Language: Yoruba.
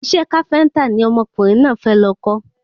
Isẹ́ káféntà ni ọmọkùnrin náà fẹ́ lọ kọ́